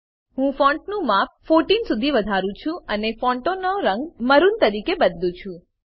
હું ફોંટનું માપ 14 સુધી વધારું છું અને ફોંટનો રંગ મરૂન તરીકે બદલું છું